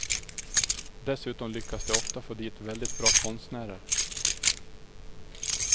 Dessutom lyckas de ofta få dit väldigt bra konstnärer.